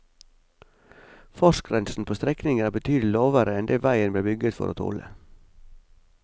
Fartsgrensen på strekningen er betydelig lavere enn det veien ble bygget for å tåle.